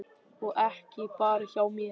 Og ekki bara hjá mér.